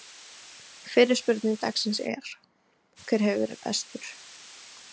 Fyrri spurning dagsins er: Hver hefur verið bestur?